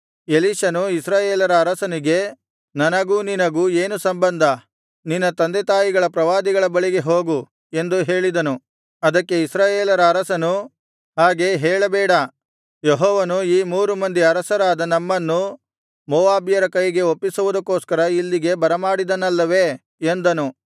ಎಲೀಷನು ಇಸ್ರಾಯೇಲರ ಅರಸನಿಗೆ ನನಗೂ ನಿನಗೂ ಏನು ಸಂಬಂಧ ನಿನ್ನ ತಂದೆತಾಯಿಗಳ ಪ್ರವಾದಿಗಳ ಬಳಿಗೆ ಹೋಗು ಎಂದು ಹೇಳಿದನು ಅದಕ್ಕೆ ಇಸ್ರಾಯೇಲರ ಅರಸನು ಹಾಗೆ ಹೇಳಬೇಡ ಯೆಹೋವನು ಈ ಮೂರು ಮಂದಿ ಅರಸರಾದ ನಮ್ಮನ್ನು ಮೋವಾಬ್ಯರ ಕೈಗೆ ಒಪ್ಪಿಸುವುದಕ್ಕೋಸ್ಕರ ಇಲ್ಲಿಗೆ ಬರಮಾಡಿದನಲ್ಲವೇ ಎಂದನು